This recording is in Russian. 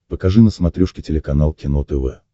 покажи на смотрешке телеканал кино тв